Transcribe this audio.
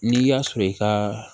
N'i y'a sɔrɔ i ka